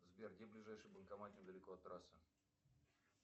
сбер где ближайший банкомат недалеко от трассы